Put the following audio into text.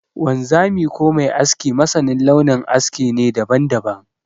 Wanzami ko mai aski masanin launin aske ne daban-daban.